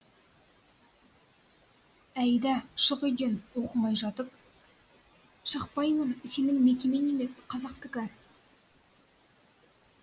әйда шық үйден оқымай жатып шықпаймын сенің мекемең емес қазақтікі